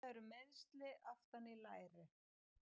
Þetta eru meiðsli aftan í læri.